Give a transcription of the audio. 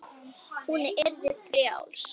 Hún yrði frjáls.